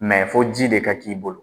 fɔ ji de ka k'i bolo